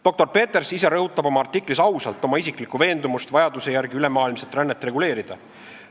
Doktor Peters ise rõhutab oma artiklis ausalt oma isiklikku veendumust, et vajaduse järgi tuleb ülemaailmset rännet reguleerida.